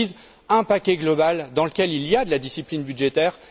Elles disent un paquet global, dans lequel il y a de la discipline budgétaire.